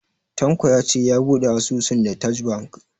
Tanko ya ce ya bude asusun da TAJ Bank.